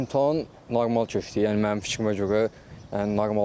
İmtahan normal keçdi, yəni mənim fikrimə görə normal idi.